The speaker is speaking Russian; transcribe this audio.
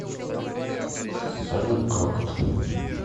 салют крокот